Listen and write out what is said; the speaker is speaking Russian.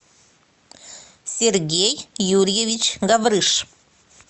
сергей юрьевич гаврыш